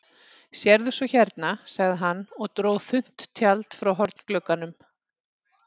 Sérðu svo hérna, sagði hann og dró þunnt tjald frá hornglugganum.